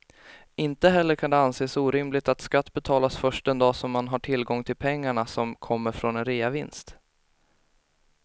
Inte heller kan det anses orimligt att skatt betalas först den dag som man har tillgång till pengarna som kommer från en reavinst.